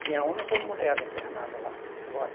Tinha homem, como mulher internado lá. Agora